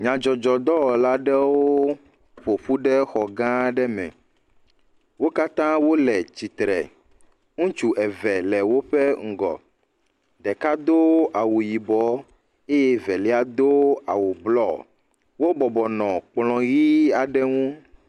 Nyadzɔdzɔdɔwɔla aɖewo ƒo ƒu ɖe xɔ gã aɖe me. Wo katã wole tsitre le. Ŋutsu eve le woƒe ŋgɔ. Ɖeka do awu yibɔ eye velia do awu blɔ. Wobɔbɔ nɔ kplɔ̃ ʋi aɖe ŋu.